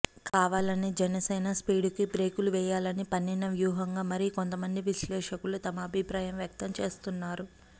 కావాలనే జనసేన స్పీడుకి బ్రేకులు వేయాలని పన్నిన వ్యూహంగా మరి కొంతమంది విశ్లేషకులు తమ అభిప్రాయం వ్యక్తం చేస్తున్నారు